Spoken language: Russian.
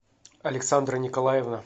александра николаевна